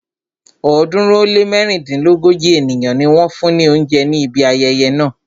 ọ̀ọ́dúnrún ó lé mẹ́rìndínlógójì ènìyàn ni wọ́n fún ni oúnjẹ ní ibi ayẹyẹ náà.